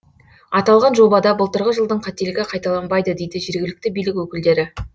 аталған жобада былтырғы жылдың қателігі қайталанбайды дейді жергілікті билік өкілдері